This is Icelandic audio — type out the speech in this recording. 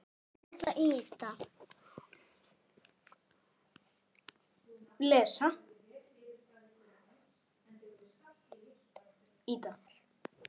Hvað vildu þeir?